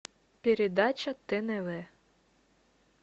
передача тнв